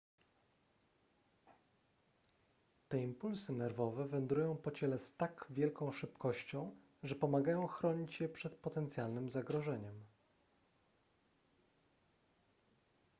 te impulsy nerwowe wędrują po ciele z tak wielką szybkością że pomagają chronić je przed potencjalnym zagrożeniem